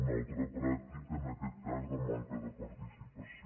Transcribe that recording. una altra pràctica en aquest cas de manca de participació